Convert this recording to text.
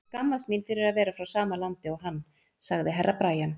Ég skammast mín fyrir að vera frá sama landi og hann, sagði Herra Brian.